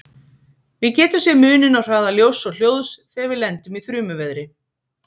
Við getum sé muninn á hraða ljóss og hljóðs þegar við lendum í þrumuveðri.